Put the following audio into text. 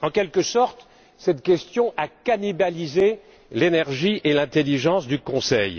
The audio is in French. En quelque sorte, cette question a cannibalisé l'énergie et l'intelligence du Conseil.